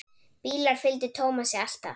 Bílar fylgdu Tómasi alltaf.